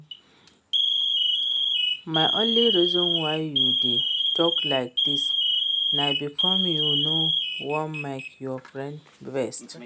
The only reason why you dey talk like dis na because you no wan make your friend vex